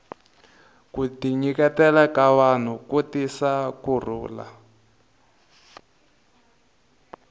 ku tinyikela ka vanhu ku tisa ku rhulu